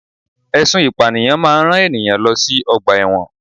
Ẹsùn ìpànìyàn máa ń rán ènìyàn lọ sí ọgbà ẹ̀wọ̀n